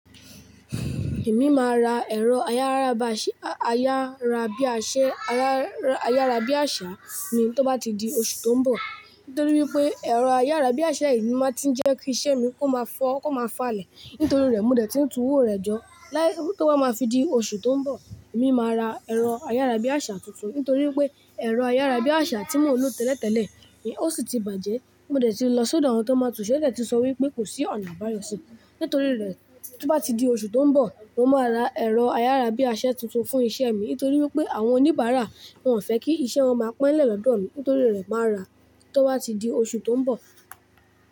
Èmi máa ra ẹ̀rọ ayárabase, ayarabiase, ayárabíàṣá ni tó bá ti di oṣù tó ń bọ̀. Nítorí wípé ẹ̀rọ ayárabíàṣá yii máa tí ń jẹ́ kí isẹ́ mi kó máa fọ́, kó máa falẹ̀. Nítorí rẹ̀, mo dẹ̀ tiń tùúwó rẹ̀ jọ. Láí tó bá máa fi di oṣù tó ń bọ̀, èmi máa ra ẹ̀rọ ayárabíàṣá tuntun. Nítorí wípé ẹ̀rọ ayárabíàṣá tí mò ń lò tẹ́lẹ̀tẹ́lẹ̀ ni ó sì ti bàjẹ́. Mo dẹ̀ ti lọ sọ́dọ̀ àwọn tó n máa ń tùnṣẹ́, wón dẹ̀ ti sọ wípé kò sí ọ̀nà àbáyọ síi. Nítorí rẹ̀, tí ó bá ti di oṣù tó ń bọ̀, mo máa ra ẹ̀rọ ayárabíase tuntun fún iṣẹ́ mi. Nítorí wípé àwọn oníbàárà wọn fẹ́ kí iṣẹ́ wọn máa pe nlẹ̀ lọ́dọ̀ mi. Nítorí rẹ̀, màá ra tó bá ti di oṣù tó ń bọ̀.